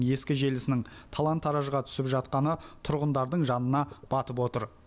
ескі желісінің талан таражға түсіп жатқаны тұрғындардың жанына батып отыр